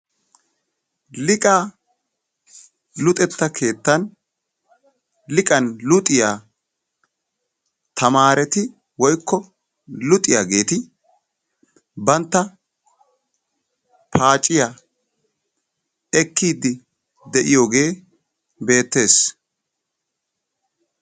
Liqaa luxetta keettan liqan luxiya tamaareti woykko luxiyageeti bantta paaciya ekkiiddi de'iyogee beettes.